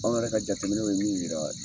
Anw yɛrɛ ka jateminɛw ye min yira